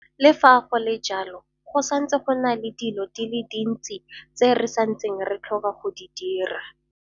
Le fa go le jalo, go santse go na le dilo di le dintsi tse re santseng re tlhoka go di dira.